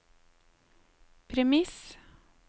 premiss